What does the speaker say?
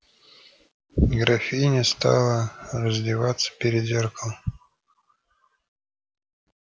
графиня стала раздеваться перед зеркалом